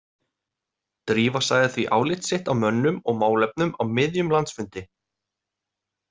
Drífa sagði því álit sitt á mönnum og málefnum á miðjum landsfundi.